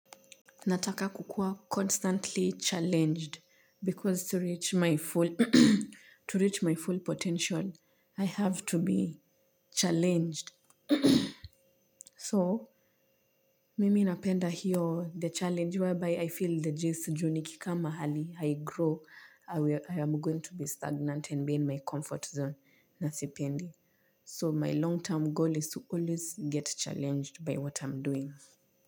Nataka kukua constantly challenged because to reach my full potential, I have to be challenged. So, mimi napenda hiyo the challenge whereby I feel the jisijuni kika mahali, haigrow, I am going to be stagnant and be in my comfort zone nasipendi. So, my long-term goal is to always get challenged by what I'm doing.